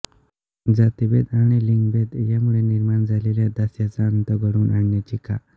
जातिभेद आणि लिंगभेद यामुळे निर्माण झालेल्या दास्याचा अंत घडवून आणण्याची कॉ